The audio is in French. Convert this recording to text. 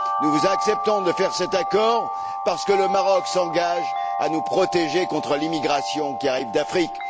Nous acceptons de faire cet accord parce que le Maroc s'engage à nous protéger contre l'immigration qui arrive d'Afrique.